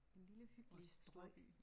En lille hyggelig storby